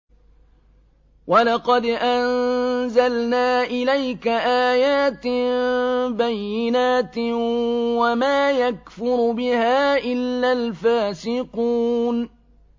وَلَقَدْ أَنزَلْنَا إِلَيْكَ آيَاتٍ بَيِّنَاتٍ ۖ وَمَا يَكْفُرُ بِهَا إِلَّا الْفَاسِقُونَ